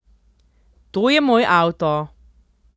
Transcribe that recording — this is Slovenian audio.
To je moj avto.